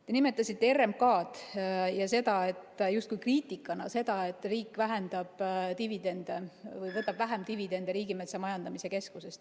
Te nimetasite RMK‑d ja mainisite justkui kriitikana seda, et riik vähendab dividende või võtab vähem dividende Riigimetsa Majandamise Keskusest.